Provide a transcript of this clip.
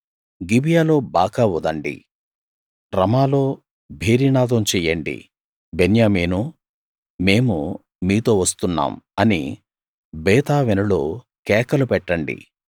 గిబియాలో బాకా ఊదండి రమాలో భేరీనాదం చెయ్యండి బెన్యామీనూ మేము మీతో వస్తున్నాం అని బేతావెనులో కేకలు పెట్టండి